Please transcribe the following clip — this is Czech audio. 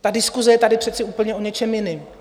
Ta diskuse je tady přece úplně o něčem jiném.